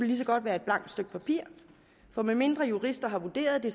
lige så godt være et blankt stykke papir for medmindre jurister har vurderet det